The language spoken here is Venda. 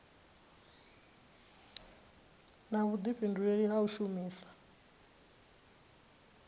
na vhudifhinduleli ha u shumisa